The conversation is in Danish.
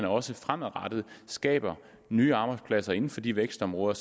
også fremadrettet skaber nye arbejdspladser inden for de vækstområder